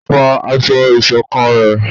fọ aṣọ ìṣọ̀kan rẹ!